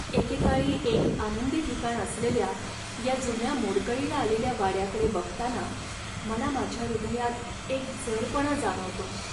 एकेकाळी एक आनंदी ठिकाण असलेल्या या जुन्या मोडकळीला आलेल्या वाड्याकडे बघताना मला माझ्या हृदयात एक जडपणा जाणवतोय.